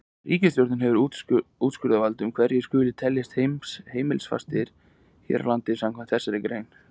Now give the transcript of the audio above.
Ríkisskattstjóri hefur úrskurðarvald um hverjir skuli teljast heimilisfastir hér á landi samkvæmt þessari grein.